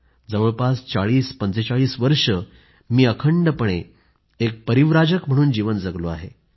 जवळपास 4045 वर्षे मी अखंडपणे एक परिव्राजक म्हणूनच जीवन जगलो आहे